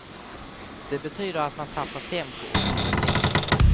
Det betyder att man tappar tempo och kompetens.